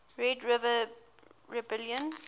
red river rebellion